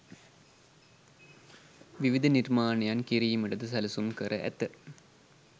විවිධ නිර්මාණයන් කිරීමටද සැලසුම් කර ඇත.